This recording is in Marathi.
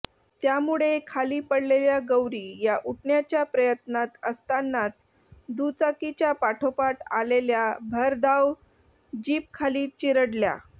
त्यामुळे खाली पडलेल्या गौरी या उठण्याच्या प्रयत्नात असतानाच दुचाकीच्या पाठोपाठ आलेल्या भरधाव जीपखाली चिरडल्या